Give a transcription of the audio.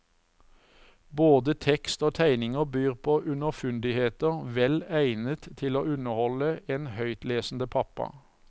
Både tekst og tegninger byr på underfundigheter vel egnet til å underholde en høytlesende pappa.